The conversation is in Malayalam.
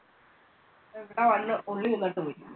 ഇപ്പം ഇവിടെ വന്ന് ഉള്ളി തിന്നിട്ട് പോയി.